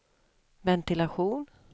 ventilation